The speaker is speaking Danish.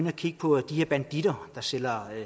og kigge på de her banditter der sælger